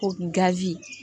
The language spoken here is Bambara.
Ko gazi